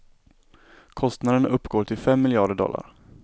Kostnaden uppgår till fem miljarder dollar.